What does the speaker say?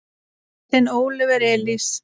Þinn Óliver Elís.